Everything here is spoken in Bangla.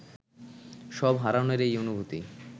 সব হারানোর এই অনুভূতি